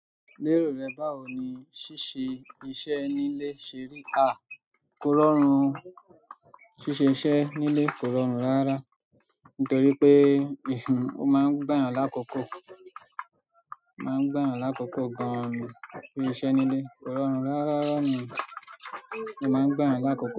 Lérò rẹ báwo ni ṣíṣe iṣẹ́ nílé ṣe rí? A, kó rọrùn, ṣíṣe iṣẹ́ nílé kó rọrùn ráárá. Nítorí pé, ó máa ń gbà eeyan lákoko, o máa ń gbà eeyan lákoko gan-an ni íṣe nílé kó rọrùn ráárá ni ó máa ń gbà eeyan lákoko.